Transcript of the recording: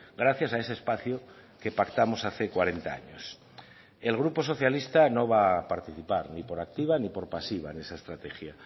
gracias a ese espacio que pactamos hace cuarenta años el grupo socialista no va a participar ni por activa ni por pasiva en esa estrategia